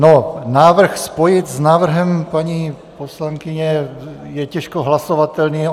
No, návrh spojit s návrhem paní poslankyně je těžko hlasovatelný.